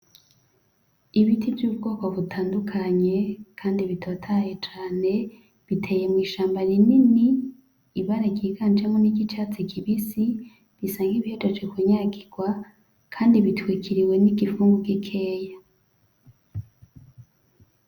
Ibiti vy'ubwoko butandukanye kandi bitotahaye cane biteye mw'ishamba rinini, Ibara ryiganjemwo niryi catsi kibisi, Bisa nibihejeje ku nyagirwa kandi bitwikiriwe n'igipfungu gikeya.